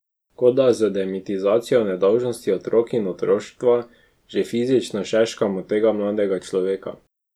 Kot da z demitizacijo nedolžnosti otrok in otroštva že fizično šeškamo tega mladega človeka.